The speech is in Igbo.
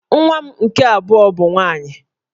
Nwa m nke abụọ bụ nwaanyị